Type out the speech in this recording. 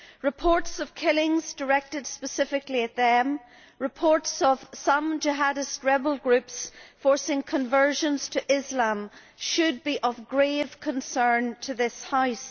Reports of killings directed specifically at them, reports of some jihadist rebel groups forcing conversion to Islam, should be of grave concern to this House.